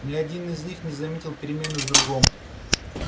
ни один из них не заметил перемены в другом